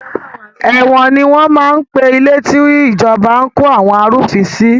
Ẹ̀wọ̀n ni wọn máa ń pe ilé tí ìjọba ń kó àwọn arúfin sí